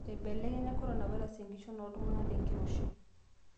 Ebelekenya coronavirus engishon oltunganak tengiroshi